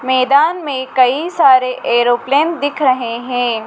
मैदान में कई सारे एरोप्लेन दिख रहे हैं।